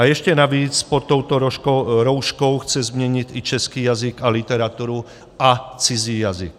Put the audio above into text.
A ještě navíc pod touto rouškou chce změnit i český jazyk a literaturu a cizí jazyk.